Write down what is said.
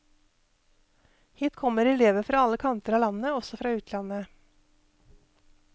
Hit kommer elever fra alle kanter av landet, også fra utlandet.